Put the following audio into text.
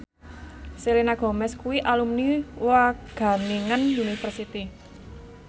Selena Gomez kuwi alumni Wageningen University